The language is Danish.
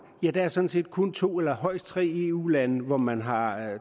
er der sådan set kun to eller højst tre eu lande hvor man har